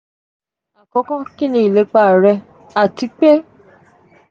akọkọ ki ni ilepa rẹ ati pé